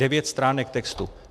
Devět stránek textu.